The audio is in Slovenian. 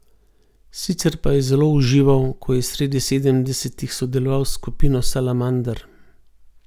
Sicer pa je zelo užival, ko je sredi sedemdesetih sodeloval s skupino Salamander.